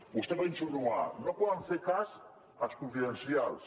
vostè va insinuar no poden fer cas dels confidencials